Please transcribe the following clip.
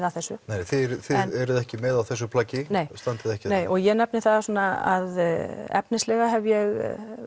að þessu þið eruð ekki með í þessu plaggi og standið ekki nei ég nefni það svona að efnislega hef ég